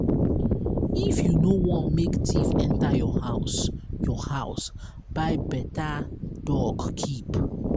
if you no want make thief enter your house your house buy beta dog keep.